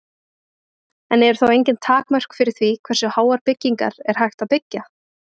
En eru þá engin takmörk fyrir því hversu háar byggingar er hægt að byggja?